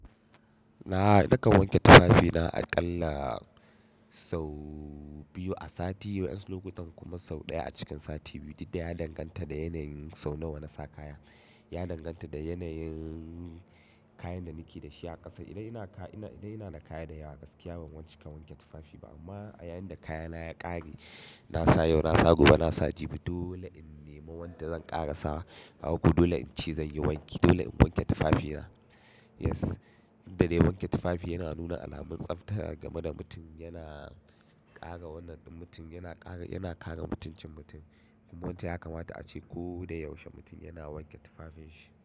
Na nakan wanke tufafina a ƙalla sau biyu a sati, wasu lokutan kuma sau ɗaya a cikin sati biyu. Duk da ya danganta da yanayin sau nawa na sa kaya. Ya danganta da yanayin kayan da nake da shi a ƙasa. Idan ina da kaya da yawa a gaskiya ban cikavwanke wanke tufafi ba. Amma a yayin da kayana ya ƙare, na sa yau, na sa gobe, na sa jibi, dole in nemi wanda zan ƙara sa. Haka dole in ci, zan yi wanki. Dole in wanke tufafina. Yes, dukda da dai wanke tufafi yana nuna alamar tsafta game da mutum yana ƙara wannan ɗin, mutum yana ƙare mutuncin mutum. Kuma mutum yakamata a ce ko da yaushe mutum yana wanke tufafinshi.